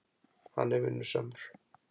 Hann er vinnusamur.